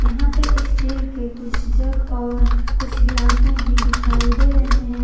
यहां पे स्टील के कुछ जग और कुछ गिलाशे भी दिखाई दे रहे हैं।